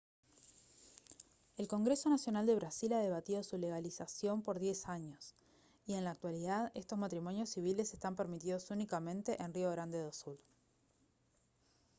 el congreso nacional de brasil ha debatido su legalización por 10 años y en la actualidad estos matrimonios civiles están permitidos únicamente en rio grande do sul